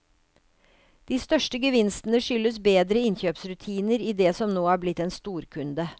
De største gevinstene skyldes bedre innkjøpsrutiner i det som nå er blitt en storkunde.